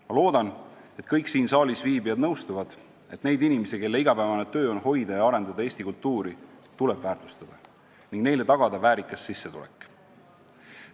Ma loodan, et kõik siin saalis viibijad nõustuvad, et neid inimesi, kelle igapäevane töö on hoida ja arendada Eesti kultuuri, tuleb väärtustada ning tagada neile väärikas sissetulek.